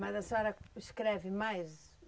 Mas a senhora escreve mais?